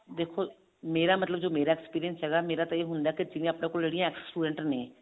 ਦੇਖੋ ਮੇਰਾ ਮਤਲਬ ਜੋ ਮੇਰਾ -experience ਹੈ ਮੇਰਾ ਤਾਂ ਇਹ ਹੁੰਦਾ ਮੇਰ ਕੋਲ ਜਿਹੜੀਆਂ ex student ਨੇ